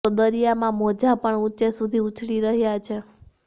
તો દરિયામાં મોજા પણ ઉંચે સુધી ઉછળી રહ્યા છે